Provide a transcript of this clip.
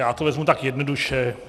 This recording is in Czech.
Já to vezmu více jednoduše.